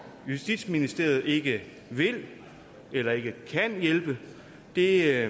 justitsministeriet ikke vil eller ikke kan hjælpe det